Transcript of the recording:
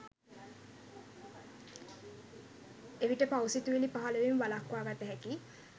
එවිට පව් සිතිවිලි පහළවීම වළක්වාගත හැකියි.